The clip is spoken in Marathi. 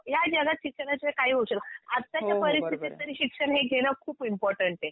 या जगात शिक्षणाशिवाय काही होऊ शकत. आत्ताच्या परिस्थितीत तरी शिक्षण हे घेणं खूप इम्पॉर्टन्ट आहे.